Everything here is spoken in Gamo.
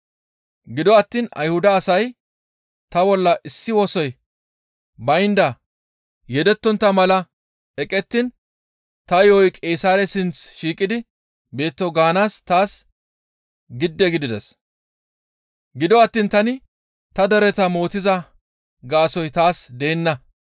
Gido attiin Ayhuda asay ta bolla issi wosoy baynda yeddetontta mala eqettiin ta yo7oy Qeesaare sinth shiiqidi beetto gaanaas taas gidde gidides; gido attiin tani ta dereta mootiza gaasoykka taas deenna.